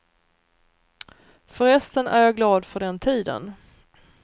Förresten är jag glad för den tiden.